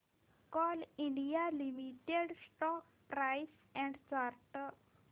Coal India Limited stock price and chart